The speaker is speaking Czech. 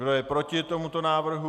Kdo je proti tomuto návrhu?